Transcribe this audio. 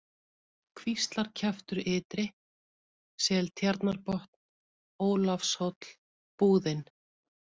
Kvíslarkjaftur ytri, Seltjarnarbotn, Ólafshóll, Búðin